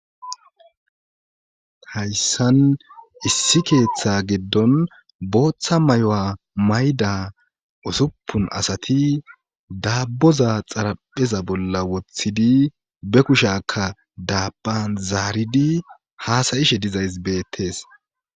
hayssan issi keeththa giddon booththa mayuwa mayda osuppun asati daabboza xarapheza bolla woththidi be kushakka daabban zaaridi haasayishe dizays beettees